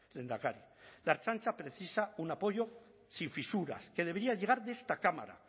lehendakari la ertzaintza precisa un apoyo sin fisuras que debería llegar de esta cámara